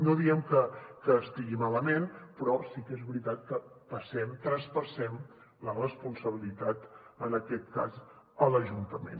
no diem que estigui malament però sí que és veritat que traspassem la responsabilitat en aquest cas a l’ajuntament